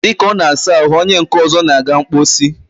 dịka ọ na-asa ahụ, onye nke ọzọ na-aga mkposi.